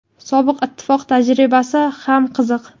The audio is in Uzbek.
Sobiq ittifoq tajribasi ham qiziq.